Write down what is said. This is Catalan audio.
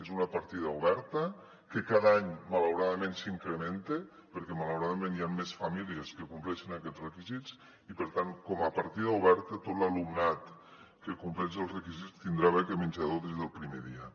és una partida oberta que cada any malauradament s’incrementa perquè malauradament hi han més famílies que compleixin aquests requisits i per tant com a partida oberta tot l’alumnat que com·pleix els requisits tindrà beca menjador des del primer dia